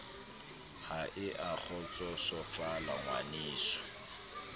ha e a kgotsosofala ngwaneso